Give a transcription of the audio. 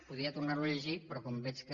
podria tornar ho a llegir però com veig que